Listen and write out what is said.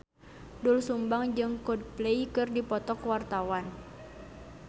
Doel Sumbang jeung Coldplay keur dipoto ku wartawan